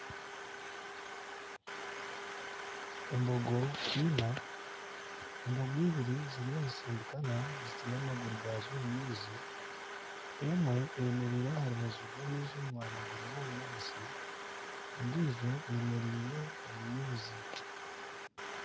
Embogo ina embogo eibiri zirimu nizisindikana zitaire amaguru gaazo omu maizi , emwe eyemereire aha rubaju rw'amaizi omu mwanya gurimu obunyaatsi endijo eyemereire omu maizi .